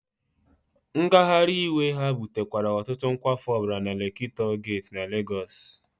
Ngagharị iwe ha butekwara ọtụtụ nkwafu ọbara na Lekki Toll Gate na Legosi.